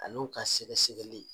Ani u ka sɛgɛ sɛgɛli.